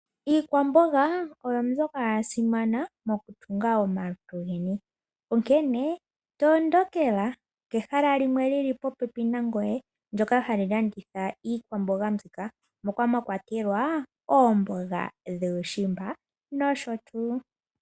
Iikwamboga oyo mbyoka ya simana mokutunga omalutu geni, onkene tondokela kehala limwe lyili po pepi nangoye ndyoka hali landitha iikwamboga mbika moka mwa kwatelwa oomboga dhuushimba nosho tuu.